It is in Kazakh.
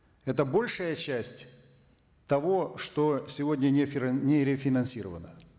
это большая часть того что сегодня не рефинансировано